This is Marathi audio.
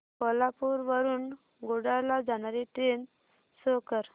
कोल्हापूर वरून कुडाळ ला जाणारी ट्रेन शो कर